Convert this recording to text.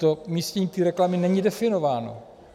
To umístění té reklamy není definováno.